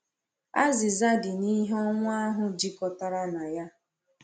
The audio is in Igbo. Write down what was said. Azịza dị n’ihe ọnwụ ahụ jikọtara na ya.